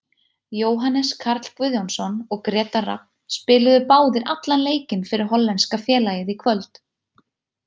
Jóhannes Karl Guðjónsson og Grétar Rafn spiluðu báðir allan leikinn fyrir hollenska félagið í kvöld.